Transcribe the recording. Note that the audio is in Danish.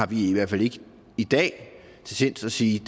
vi i hvert fald ikke i dag til sinds at sige